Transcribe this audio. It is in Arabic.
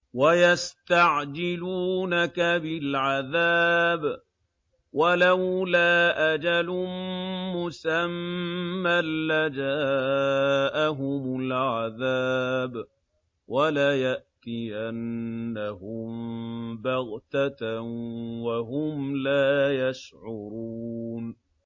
وَيَسْتَعْجِلُونَكَ بِالْعَذَابِ ۚ وَلَوْلَا أَجَلٌ مُّسَمًّى لَّجَاءَهُمُ الْعَذَابُ وَلَيَأْتِيَنَّهُم بَغْتَةً وَهُمْ لَا يَشْعُرُونَ